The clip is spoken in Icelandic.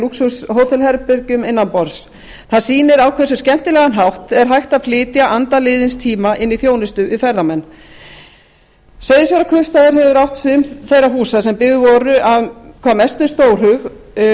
lúxushótelherbergjum innanborðs það sýnir á hversu skemmtilegan hátt er hægt að flytja anda liðins tíma inn í þjónustu við ferðamenn seyðisfjarðarkaupstaður hefur átt sum þeirra húsa sem byggð voru af hvað mestum stórhug